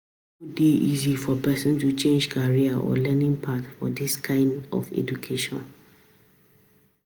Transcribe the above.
e no dey easy for person to change career or learning path for this kind of education